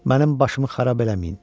Mənim başımı xarab eləməyin.